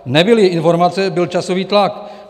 Nebyly informace, byl časový tlak.